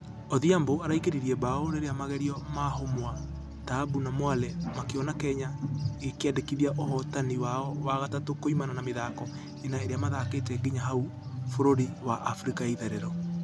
Odhiambo araingĩririe bao... rĩrĩa magerio ma humwa, taabu na mwale makĩona kenya ĩgĩqndĩkithia ũhotani wao wa gatatũ kuimana na mĩthako ĩna iria mathakĩte nginya hau bũrũri wa africa ya itherero.